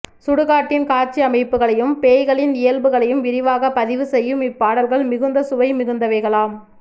சுடுகாட்டின் காட்சியமைப்புகளையும் பேய்களின் இயல்புகளையும் விரிவாக பதிவு செய்யும் இப்பாடல்கள் மிகுந்த சுவை மிகுந்தவைகளாம்